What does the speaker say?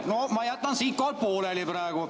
No ma jätan siinkohal pooleli praegu.